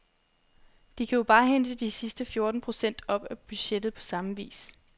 De kan jo bare hente de sidste fjorten procent af budgettet på samme vis.